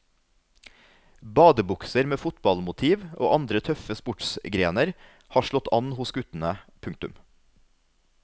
Badebukser med fotballmotiv og andre tøffe sportsgrener har slått an hos guttene. punktum